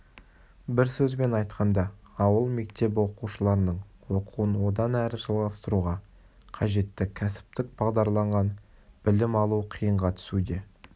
бір сөзбен айтқанда ауыл мектебі оқушыларының оқуын одан әрі жалғастыруға қажетті кәсіптік бағдарланған білім алу қиынға түсуде